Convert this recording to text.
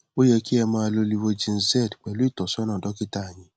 ó yẹ kí ẹ máa lo livogen z pẹlú ìtọsọnà dọkítà yín